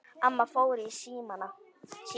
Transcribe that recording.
Amma fór í símann.